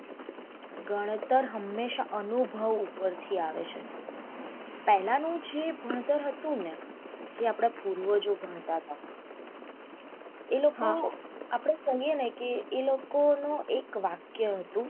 ગણતર હંમેશા અનુભવ ઉપર થી આવે છે પહેલાનું જે ભણતર હતુંને જે આપડા પૂર્વજો ભણતા હતા એતો આપડે કે એ લોકો નું એક